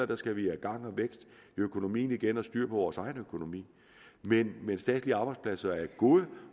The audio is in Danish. der skal vi have gang og vækst i økonomien igen og styre vores egen økonomi men men statslige arbejdspladser er gode